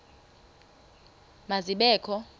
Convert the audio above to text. ma zibe kho